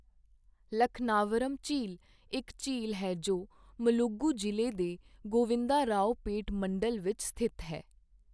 ਲਖਨਾਵਰਮ ਝੀਲ ਇੱਕ ਝੀਲ ਹੈ ਜੋ ਮੁਲੁਗੂ ਜ਼ਿਲ੍ਹੇ ਦੇ ਗੋਵਿੰਦਾਰਾਓਪੇਟ ਮੰਡਲ ਵਿੱਚ ਸਥਿਤ ਹੈ।